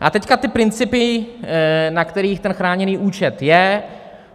A teď ty principy, na kterých ten chráněný účet je.